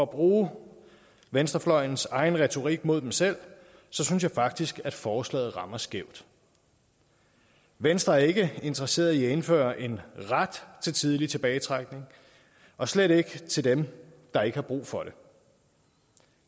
bruge venstrefløjens egen retorik mod den selv synes jeg faktisk at forslaget rammer skævt venstre er ikke interesseret i at indføre en ret til tidlig tilbagetrækning og slet ikke til dem der ikke har brug for det